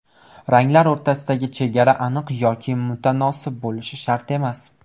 Ranglar o‘rtasidagi chegara aniq yoki mutanosib bo‘lishi shart emas.